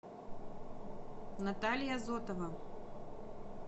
наталья зотова